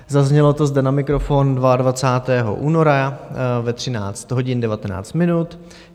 Zaznělo to zde na mikrofon 22. února ve 13 hodin 19 minut.